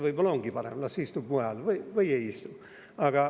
Võib-olla ongi parem, las istub mujal või ei istu.